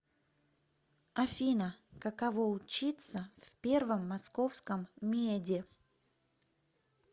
афина каково учиться в первом московском меде